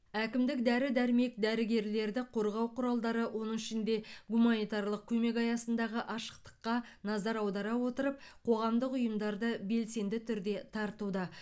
әкімдік дәрі дәрмек дәрігерлерді қорғау құралдары оның ішінде гуманитарлық көмек аясындағы ашықтыққа назар аудара отырып қоғамдық ұйымдарды белсенді түрде тартуда